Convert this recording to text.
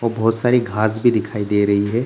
और बहुत सारी घास भी दिखाई दे रही है।